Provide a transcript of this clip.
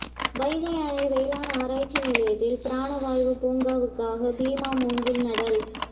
வைகை அணை வேளாண் ஆராய்ச்சி நிலையத்தில் பிராண வாயு பூங்காவுக்காக பீமா மூங்கில் நடல்